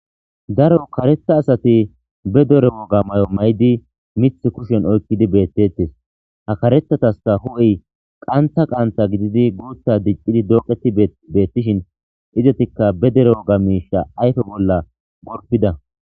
Daro karetha asati be dero oga mayo may7idi mith kushen oykkidi beettettes ha karethataska hu7ey qantha qanta gididi guutha diccidi dooqeti beettishin izatikka be dere oga miisha ayfe bolla gorpida.